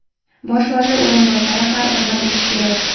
Bosh vazir o‘rinbosari har birini bilishi kerak.